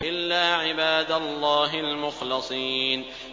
إِلَّا عِبَادَ اللَّهِ الْمُخْلَصِينَ